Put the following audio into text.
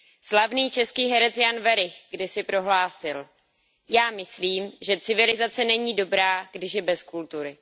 Slavný český herec Jan Werich kdysi prohlásil Já myslím, že civilizace není dobrá, když je bez kultury.